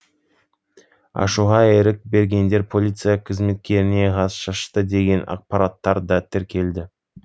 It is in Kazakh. ашуға ерік бергендер полиция қызметкеріне газ шашты деген ақпараттар да тіркелді